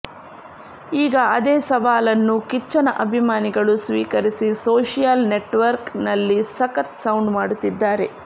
ಈಗ ಅದೇ ಸವಾಲನ್ನು ಕಿಚ್ಚನ ಅಭಿಮಾನಿಗಳು ಸ್ವೀಕರಿಸಿ ಸೋಷಿಯಲ್ ನೆಟ್ವರ್ಕ್ ನಲ್ಲಿ ಸಖತ್ ಸೌಂಡ್ ಮಾಡುತ್ತಿದ್ದಾರೆ